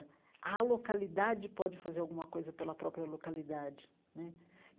A localidade pode fazer alguma coisa pela própria localidade né.